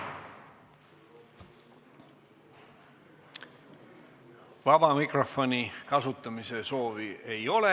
Vaba mikrofoni kasutamise soovi ei ole.